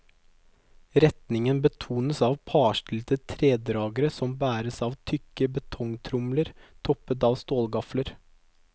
Retningen betones av parstilte tredragere som bæres av tykke betongtromler toppet av stålgafler.